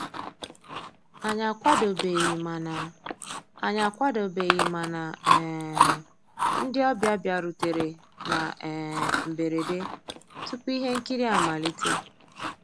Ànyị́ àkwàdóbéghí màná Ànyị́ àkwàdóbéghí màná um ndị́ ọ̀bịá bìàrùtérè ná um mbérèdé túpú íhé nkírí àmàlíté.